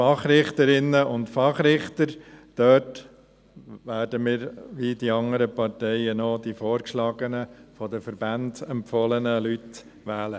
Bei den Fachrichterinnen und Fachrichtern werden wir – wie die anderen Parteien auch – die vorgeschlagenen, von den Verbänden empfohlenen Leute wählen.